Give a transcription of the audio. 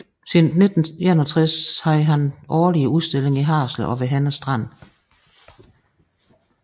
Siden 1961 havde han årlige udstillinger i Haderslev og ved Henne Strand